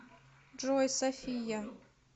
джой софия